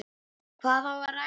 Hvað á að ræða?